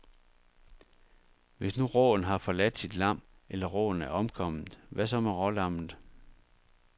Hvis nu råen har forladt sit lam, eller råen er omkommet, hvad så med rålammet.